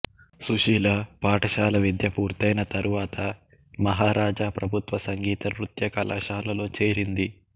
సుశీల పాఠశాల విద్య పూర్తైన తరువాత మహారాజా ప్రభుత్వ సంగీత నృత్య కళాశాలలో చేరింది